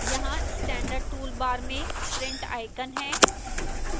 यहां standard toolbar में print icon है